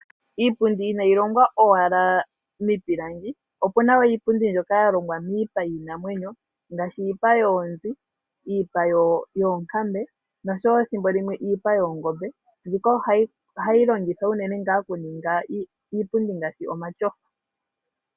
Iipundi inayi longwa owala miipilangi, opu na wo iipundi mbyoka ya longwa miipa yiinamwenyo ngaashi iipa yoonzi, iipa yoonkambe osho wo ethimbo limwe iipa yoongombe. Mbika oha yi longithwa unene oku ninga iipundi ngaashi omatyofa.